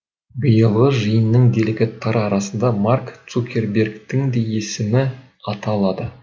биылғы жиынның делегаттары арасында марк цукербергтің де есімі аталады